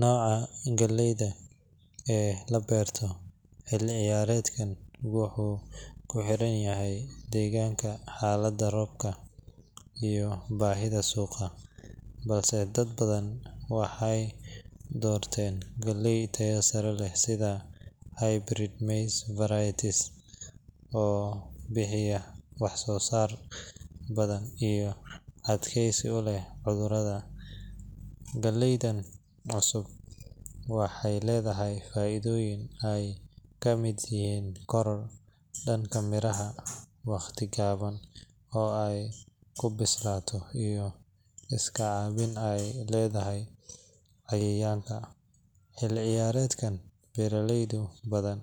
Nooca galleda ee la beerto xilli-ciyaareedkan wuxuu ku xirnaanayaa deegaanka, xaaladda roobka, iyo baahida suuqa, balse dad badan waxay doorteen galle tayo sare leh sida hybrid maize varieties oo bixiya wax-soo-saar badan iyo adkaysi u leh cudurrada. Galledan cusub waxay leedahay faa’iidooyin ay ka mid yihiin koror dhanka miraha ah, wakhti gaaban oo ay ku bislaato, iyo iska caabin ay u leedahay cayayaanka. Xilli-ciyaareedkan, beeraley badan